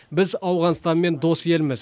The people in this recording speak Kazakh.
біз ауғанстанмен дос елміз